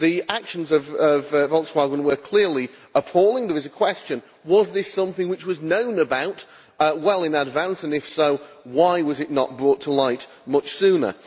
The actions of Volkswagen were clearly appalling. The question is, was this something which was known about well in advance, and if so, why was it not brought to light much sooner?